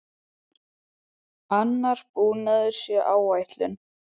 Annar búnaður sé á áætlun.